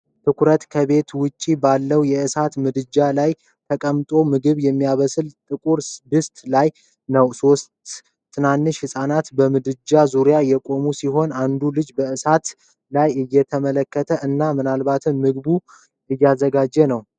ትኩረቱ ከቤት ውጭ ባለው የእሳት ምድጃ ላይ ተቀምጦ ምግብ የሚብሰልበት ጥቁር ድስት ላይ ነው። ሦስት ትንንሽ ህጻናት በምድጃው ዙሪያ የቆሙ ሲሆን አንዱ ልጅ በእሳት ላይ እየተመለከተ እና ምናልባትም ምግቡን እያዘጋጀ ነው።